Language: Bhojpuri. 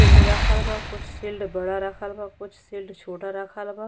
शील्ड रखल बा कुछ शील्ड बड़ा रखल बा कुछ शील्ड छोटा रखल बा।